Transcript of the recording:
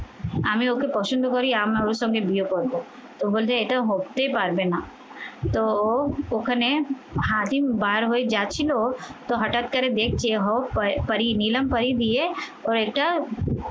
আমি ওকে পছন্দ করি আম না ওর সঙ্গে বিয়ে করবো তো বলছে এটা হতেই পারবে না তো ওখানে হাতি বার হয়ে যাচ্ছিল তো হঠাৎ করে দেখছে হোক নিলাম পারি দিয়ে ও এটা